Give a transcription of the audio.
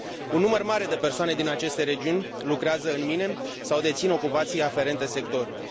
Un număr mare de persoane din aceste regiuni lucrează în mine sau dețin ocupații aferente sectorului.